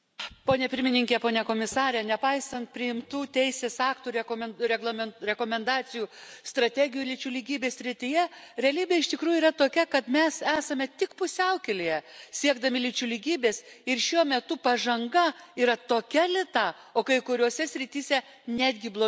Nepaisant priimtų teisės aktų rekomendacijų strategijų lyčių lygybės srityje realybė iš tikrųjų yra tokia, kad mes esame tik pusiaukelėje siekdami lyčių lygybės ir šiuo metu pažanga yra tokia lėta, o kai kuriose srityse netgi blogėja moterų teisių padėtis.